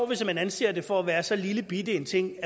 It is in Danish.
hvis man anser det for at være så lillebitte en ting